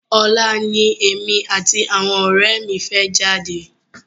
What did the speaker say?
Ọ̀la ni èmi àti àwọn ọ̀rẹ́ mi fẹ́ jáde.